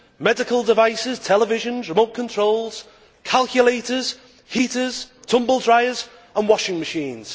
medical devices, televisions, remote controls, calculators, heaters, tumble dryers and washing machines.